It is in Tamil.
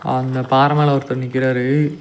அந்த பாற மேல ஒருத்தர் நிக்கிறாரு.